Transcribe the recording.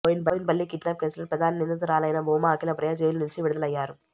Boinpally kidnap కేసులో ప్రధాన నిందితురాలైన భూమా అఖిలప్రియ జైలు నుంచి విడుదలయ్యారు